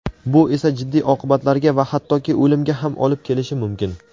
Bu esa jiddiy oqibatlarga va hattoki o‘limga ham olib kelishi mumkin.